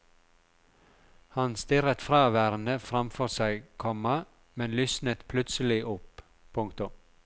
Han stirret fraværende fram for seg, komma men lysnet plutselig opp. punktum